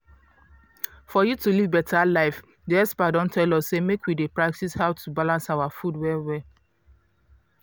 for you to live beta life di experts don tell us say make we dey practice how to balance our food well well.